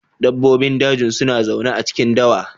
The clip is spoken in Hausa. Dabbobin daji suna zaune a cikin dawa.